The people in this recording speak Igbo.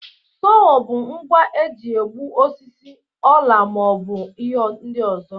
Sowo bụ ngwa eji egbu osisi, ọla ma ọ bụ ihe ndị ọzọ.